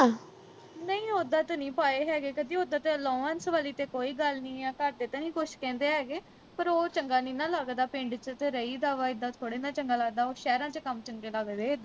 ਨਹੀਂ ਓਦਾਂ ਤੇ ਨੀ ਪਾਏ ਹੈਗੇ ਕਦੀ ਓਦਾਂ ਤੇ allowance ਵਾਲੀ ਤੇ ਕੋਈ ਗੱਲ ਨਹੀਂ ਆ ਘਰਦੇ ਤੇ ਨੀ ਕੁਛ ਕਹਿੰਦੇ ਹੈਗੇ ਪਰ ਉਹ ਚੰਗਾ ਨੀ ਨਾ ਲੱਗਦਾ ਪਿੰਡ ਵਿਚ ਤੇ ਰਹੀਦਾ ਵਾਂ ਇੱਦਾਂ ਥੋੜਾ ਨਾ ਚੰਗਾ ਲੱਗਦਾ ਵਾ ਉਹ ਸ਼ਹਿਰਾਂ ਵਿਚ ਕੰਮ ਚੰਗੇ ਲੱਗਦੇ